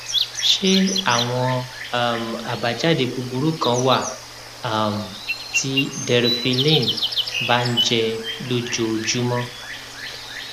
ṣé àwọn um àbájáde búburú kan wà um tí deriphyllin bá ń jẹ lójoojúmọ